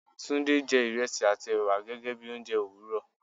Tunde jẹ́ ìrẹsì àti ẹ̀wà gẹ́gẹ́ bí oúnjẹ òwúrò